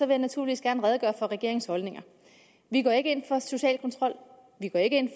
jeg naturligvis gerne redegøre for regeringens holdninger vi går ikke ind for social kontrol vi går ikke ind